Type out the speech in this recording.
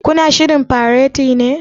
Ku na shirrin fareti ne?